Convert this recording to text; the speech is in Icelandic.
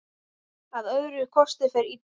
Að öðrum kosti fer illa.